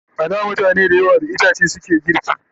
A da mutane da yawa da itace suke girki